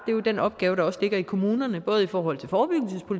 den opgave der også ligger i kommunerne både i forhold